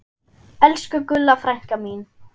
Elsku Gulla frænka mín.